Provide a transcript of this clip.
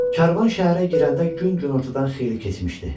Karvan şəhərə girəndə gün günortadan xeyli keçmişdi.